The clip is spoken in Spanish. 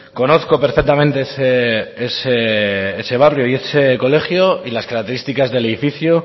conozco perfectamente ese barrio y ese colegio y las características del edificio